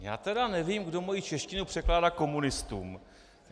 Já tedy nevím, kdo moji češtinu překládá komunistům.